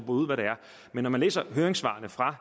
ud hvad det er men når man læser høringssvaret fra